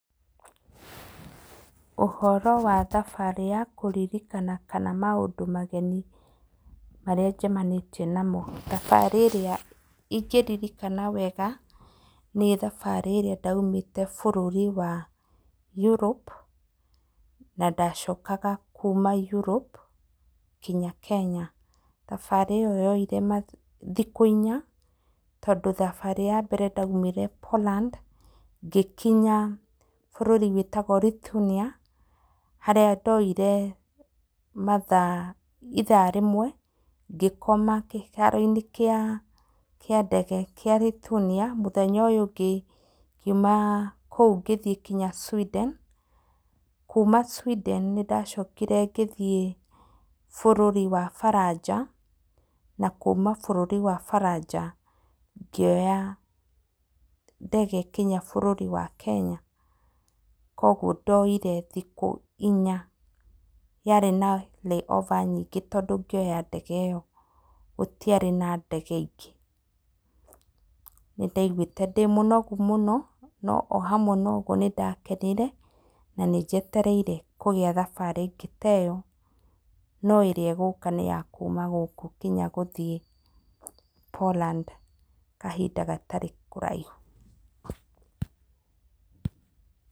Ũhoro wa thabarĩ ya kũririkana kana maũndũ mageni marĩa njemanĩtie namo, thabarĩ ĩrĩa ingĩririkana wega, nĩ thabarĩ ĩrĩa ndaimĩte bũrũri wa Europe, na ndacokaga kuuma Europe, nginya Kenya, thabarĩ ĩyo yoire ma thikũ inya, tondũ thabarĩ ya mbere ndaimire Poland, ngĩkinya bũrũri wĩtagwo Ritunia, harĩa ndoire mathaa, ithaa rĩmwe, ngĩkoma kĩharo-inĩ kĩa kĩa ndege kĩa Ritunia, mũthenya ũyũ ũngĩ, ngiũma kũu ngĩthiĩ nginya Sweden, kuuma sweden nĩ ndacokire ngĩthiĩ bũrũri wa Baranja, na kuuma bũrũri wa Baranja, ngĩoya ndege nginya bũrũri wa Kenya, koguo ndoire thikũ inya, yarĩ na layover nyingĩ tondũ ngĩoya ndege ĩyo, gũtiarĩ na ndege ingĩ, nĩ ndaigwĩte ndĩmũnogu mũno, no ohamwe na ũguo nĩ ndakenire, na nĩ njetereire kũgĩa na thabarĩ ĩngĩ ta ĩyo, no ĩrĩa ĩgũka nĩ ya kuuma gũkũ nginya gũthiĩ Poland kahinda gatarĩ kũraihu.